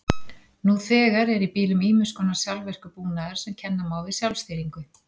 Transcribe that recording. Nú þegar er í bílum ýmiss konar sjálfvirkur búnaður sem kenna má við sjálfstýringu.